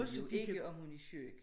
Vi ved jo ikke om hun er syg